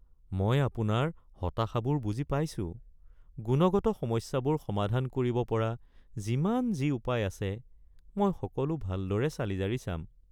মই আপোনাৰ হতাশাবোৰ বুজি পাইছোঁ, গুণগত সমস্যাবোৰ সমাধান কৰিব পৰা যিমান যি উপায় আছে মই সকলো ভালদৰে চালি-জাৰি চাম।